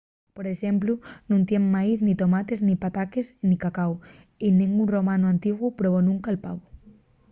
por exemplu nun teníen maíz nin tomates nin pataques nin cacáu. y nengún romanu antiguu probó nunca’l pavu